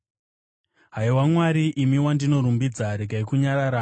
Haiwa Mwari, imi wandinorumbidza, regai kunyarara,